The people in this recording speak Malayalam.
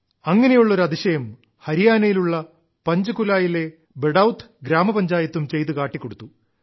അങ്ങനെയുള്ള ഒരു അതിശയം ഹരിയാനയിലുള്ള പഞ്ചകുലായിലെ ബഡൌത് ഗ്രാമപഞ്ചായത്തും ചെയ്തു കാട്ടിക്കൊടുത്തു